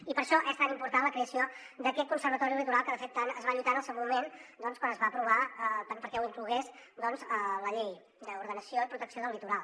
i per això és tan important la creació d’aquest conservatori del litoral que de fet tant es va lluitar en el seu moment doncs quan es va aprovar perquè l’inclogués la llei d’ordenació i protecció del litoral